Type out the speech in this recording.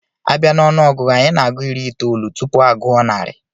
A bia n'onuogugu, Anyị na-agụ iri itoolu tupu aguo narị